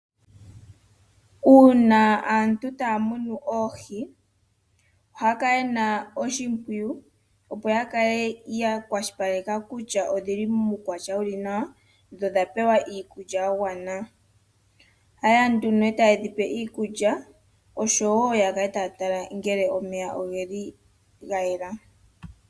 Uuna aantu taa munu oohi, ohaya kala ye na oshimpwiyu, opo ya kale ya kale ya kwashilipaleka kutya odhi li muukwatya wu li nawa, dho odha pewa iikulya ya gwana. Ohaye ya nduno e taye dhi pe iikulya, osho wo ya kale taya tala ngele omeya oge li ga yela.